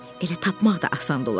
Elə tapmaq da asan olar.